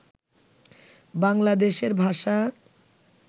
বাংলাদেশের ভাষা